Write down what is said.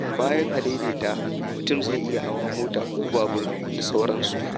Bayan adaidaita, mutum zai iya hawa mota ko babur d.s.